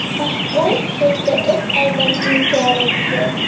Mahbus sudda o‘z aybini inkor etdi.